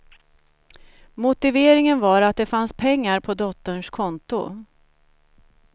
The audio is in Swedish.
Motiveringen var att de fanns pengar på dotterns konto.